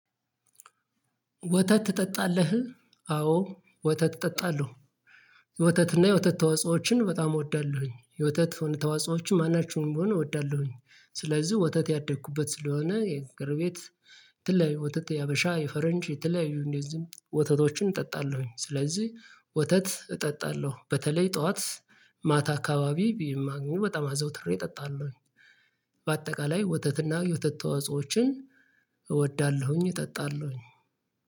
ወተት ትጠጣለህ? አዎ ወተት እጠጣለሁ። ወተትና የወተት ተዋጽኦዎችን በጣም እወዳለሁኝ የወተት የሆኑ ተዋጽኦዎችን ማናቸውንም ቢሆን እወዳለሁኝ። ስለዚህ ወተት ያደግኩበት ስለሆነ የጎረቤት የተለያዩ ወተት ያበሻ የፈረንጅ የተለያዩ እንደዚሁም ወተቶችን እጠጣለሁኝ። ስለዚህ ወተት እጠጣለሁ በተለይ ጠዋት ማታ አካባቢ ቢም ማገኘው በጣም አዘውትሬ እጠጣለሁኝ። በአጠቃላይ ወተትና የወተት ተዋጽኦዎችን እወዳለሁኝ እጠጣለሁኝ።